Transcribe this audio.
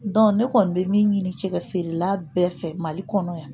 ne kɔni bɛ min ɲini cɛ feerela bɛɛ fɛ mali kɔnɔ yan